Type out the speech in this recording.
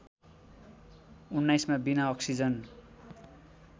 १९ मा बिना अक्सिजन